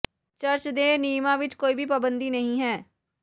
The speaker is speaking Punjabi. ਚਰਚ ਦੇ ਨਿਯਮਾਂ ਵਿਚ ਕੋਈ ਵੀ ਪਾਬੰਦੀ ਨਹੀਂ ਹੈ